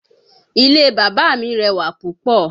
Ilé bàbá mi rẹwà púpọ̀